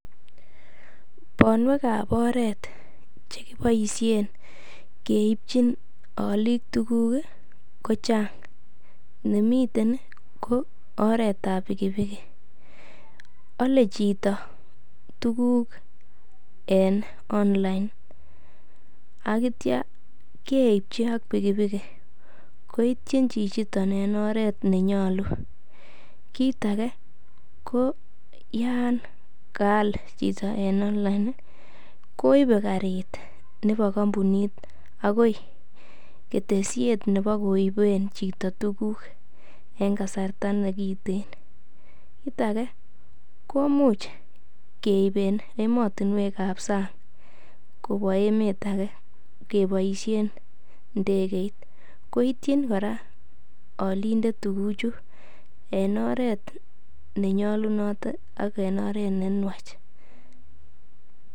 Bonwek ab oret che kipoisien keipchin olik tugul kochang, nemiten kooretab pikipiki ole chito tuguk en online ak kityo keipchi ak pikipiki koityin chichito en oret nenyolu. Kiit age ko yan kaal chito en online koibe karit nebo kompunit agoi ketesiet nebokoiben chito tuguk en kasarta ne kiten. Kiit age komuch keib en emotinwek ab sang kobun kobwa emet age keboisiein ndegeit ko ityin kora olindet tuguchu en oret ne nyolunot ak en oret ne nwach.